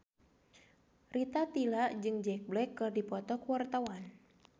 Rita Tila jeung Jack Black keur dipoto ku wartawan